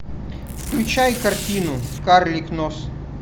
включай картину карлик нос